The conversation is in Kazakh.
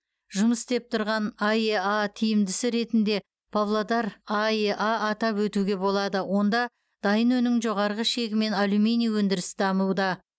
жұмыс істеп тұрған аэа тиімдісі ретінде павлодар аэа атап өтуге болады онда дайын өнімнің жоғары шегімен алюминий өндіріс дамуда